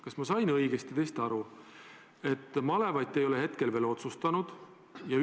Kas ma sain õigesti aru, et malevaid te ei ole veel otsustanud?